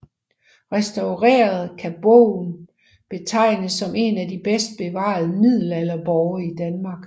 Restaureret kan borgen betegnes som en af de bedst bevarede middelalderborge i Danmark